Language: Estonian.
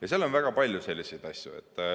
Ja seal on väga palju selliseid asju.